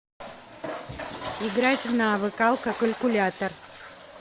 играть в навык алкокалькулятор